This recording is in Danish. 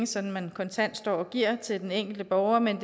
sådan kontant står og giver til den enkelte borger men